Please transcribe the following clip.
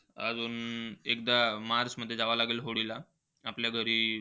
अजून एकदा मार्च मध्ये जावं लागेल होळीला. आपल्या घरी